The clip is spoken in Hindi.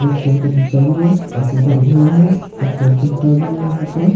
उत्तर का जूता भी है एक उधर घर है एक पोल खूंटा भी है यहां पास।